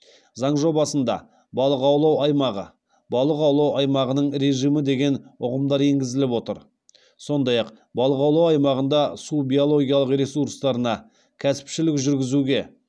заң жобасында балық аулау аймағы балық аулау аймағының режимі деген ұғымдар енгізіліп отыр сондай ақ балық аулау аймағында су биологиялық ресурстарына кәсіпшілік жүргізуге